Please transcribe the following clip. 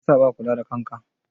Meye yasa baka kula ɗan ka?